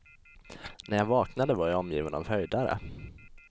När jag vaknade var jag omgiven av höjdare.